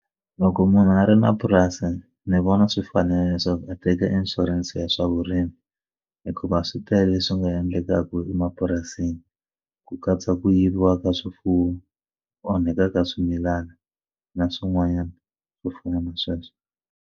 Loko munhu a ri na purasi ni vona swi fanerile leswaku a teka inshurense ya swa vurimi hikuva swi tele swi nga endlekaka emapurasini ku katsa ku yiviwa ka swifuwo onhaka ka swimilana na swin'wanyana swo fana na sweswo.